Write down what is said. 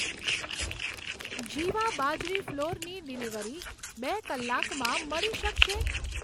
જીવા બાજરી ફ્લોરની ડિલિવરી બે કલાકમાં મળી શકશે?